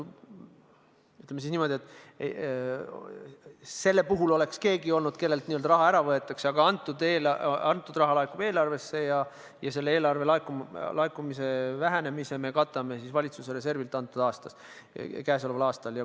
Ütleme niimoodi, et selle puhul oleks olnud keegi, kellelt raha ära võetakse, aga kõnealune raha laekub eelarvesse ja selle eelarve laekumise vähenemise me katame käesoleval aastal valitsuse reservist.